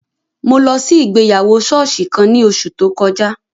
Mo lọ si igbeyawo sooṣi kan ni oṣu to kọja